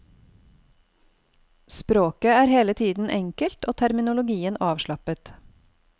Språket er hele tiden enkelt og terminologien avslappet.